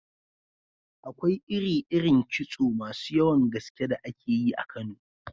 Akwai iri-irin kitso masu yawan gaske da ake yi a Kano.